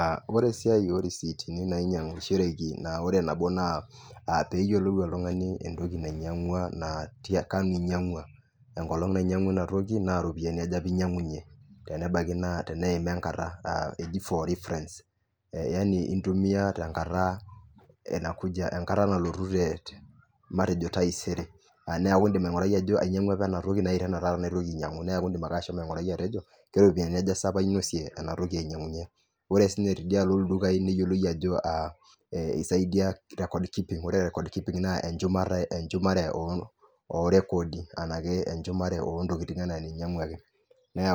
Aaa ore esiai orisiitini nainyiang'ishoreki naa nabo naa pee eyiolou oltung'ani entoki nainyiang'ua naa tiakanu einyia'ngua ino toki naa kanu einyiang'ua ina toki naa kaji einyiang'unyie naa inatoki eji for reference iyata enkata nalotu taisere indiim aing'urai ajo ainyiang'ua apa enkolong naje neeku ake ashomo aing'urai atejo keropiyiaji sa aja ala ainosie enatoki ore sii tidialo ildukai niyiolou ajo esaidiia recording naa enchumata eyau oorekoodi nee